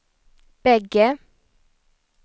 bägge